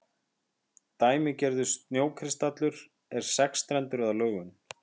dæmigerður snjókristallur er sexstrendur að lögun